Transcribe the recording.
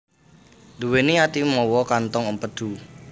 Nduwèni ati mawa kantong empedu